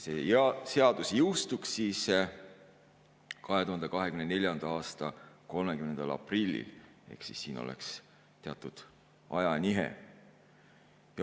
See seadus jõustuks 2024. aasta 30. aprillil ehk siin oleks teatud ajanihe.